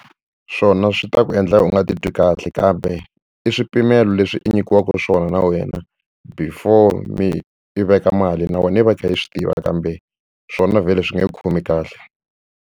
Swona swi ta ku endla u nga ti twi kahle kambe i swipimelo leswi i nyikiwaka swona na wena before mi i veka mali na wena i va i kha i swi tiva kambe swona vhele swi nge ku khomi kahle.